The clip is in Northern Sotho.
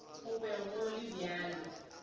go be go le bjalo